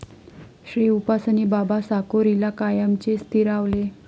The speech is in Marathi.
श्रीउपासनी बाबा साकोरीला कायमचे स्थिरावले.